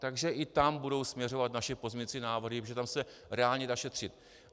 Takže i tam budou směřovat naše pozměňovací návrhy, protože tam se reálně dá šetřit.